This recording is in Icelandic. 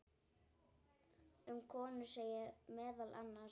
Um konur segir meðal annars